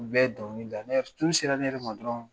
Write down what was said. U bɛɛ dɔnkili da sera ne yɛrɛ ma dɔrɔn